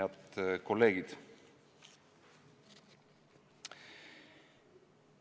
Head kolleegid!